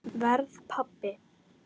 Verð pabbi.